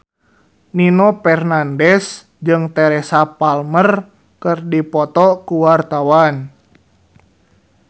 Nino Fernandez jeung Teresa Palmer keur dipoto ku wartawan